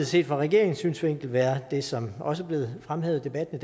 set fra regeringens synsvinkel være det som også er blevet fremhævet i debatten